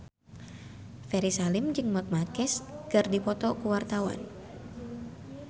Ferry Salim jeung Marc Marquez keur dipoto ku wartawan